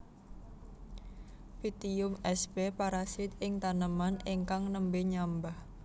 Pytium sp parasit ing taneman ingkang nembé nyambah